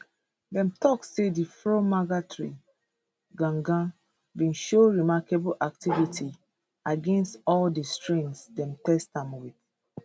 dem tok say di fromager tree gangan bin show remarkable activity against all di strains dem test am wit